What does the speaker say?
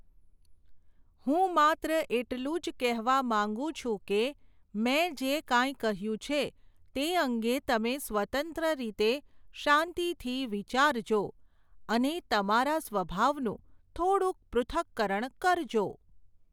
હું માત્ર એટલું જ કહેવા માંગું છું કે, મેં જે કાંઈ કહ્યું છે, તે અંગે તમે સ્વતંત્ર રીતે, શાંતિથી વિચારજો, અને તમારા સ્વભાવનું થોડુંક પૃથક્કરણ કરજો !.